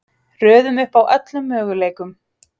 Röðum upp öllum möguleikum: